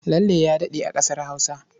Lalle ya daɗe a ƙasar Hausa.